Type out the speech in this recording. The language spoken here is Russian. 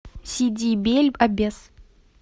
сиди бель аббес